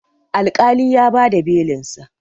alƙalin ya ba da Belinsa